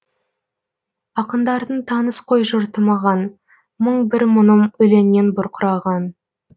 ақындардың таныс қой жұрты маған мың бір мұңым өлеңнен бұрқыраған